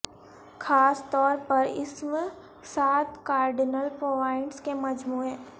خاص طور پر اسم ساتھ کارڈنل پوائنٹس کے مجموعے